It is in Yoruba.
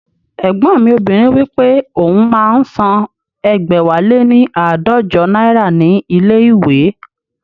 Ẹ̀gbọ́n mi obìnrin wípé òun máa ń san ẹgbẹ̀wáléní aadọjọ náírà ní ilé ìwé